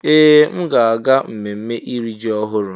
Ee! M ga-aga ememme iri ji ọhụrụ.